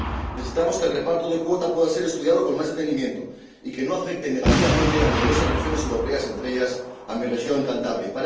Necesitamos que el reparto de las cuotas pueda ser estudiado con más detenimiento y que no afecte negativamente a numerosas regiones europeas, entre ellas, a mi región, Cantabria.